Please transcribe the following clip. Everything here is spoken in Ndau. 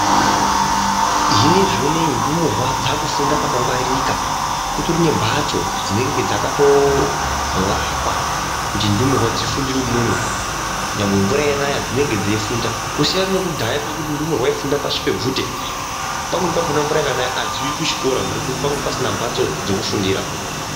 Zvinezvi uneyi ndumurwa dzakufunda pakangwaririka kutori nembatso dzinenge dzakatovakwa kuti ndumurwa dzifundire imwomo nyangwe mvura yanaya dzinenge dzeyifunda kusiyana nekudhaya kwekuti ndumurwa yaifunda pashi pebvute pamweni pakona mvura yakanaka hadziuyi kuchikora nekuti pange pasina mbatso dzokufundira.